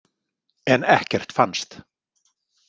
En ekkert fannst.